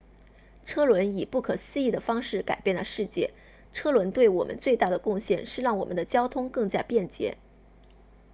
车轮以不可思议的方式改变了世界车轮对我们最大的贡献是让我们的交通更加便捷